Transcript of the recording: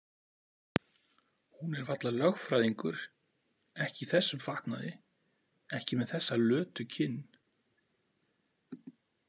Hún er varla lögfræðingur, ekki í þessum fatnaði, ekki með þessa lötu kinn.